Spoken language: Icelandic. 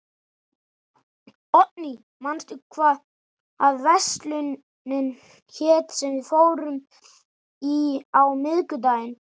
Oddný, manstu hvað verslunin hét sem við fórum í á miðvikudaginn?